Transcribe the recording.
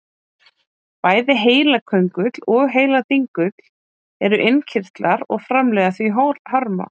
Bæði heilaköngull og heiladingull eru innkirtlar og framleiða því hormón.